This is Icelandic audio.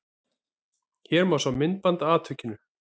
Hér má sjá myndband af atvikinu